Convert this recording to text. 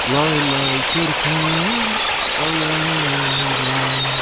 Lay lay körpəm, alay lay.